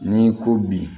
N'i ko bi